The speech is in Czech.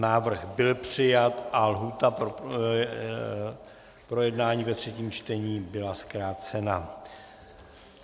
Návrh byl přijat a lhůta pro projednání ve třetím čtení byla zkrácena.